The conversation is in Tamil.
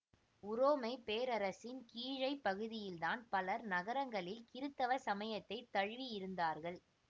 உரோமை பேரரசின் கீழைப் பகுதியில்தான் பலர் நகரங்களில் கிறித்தவ சமயத்தை தழுவியிருந்தார்கள்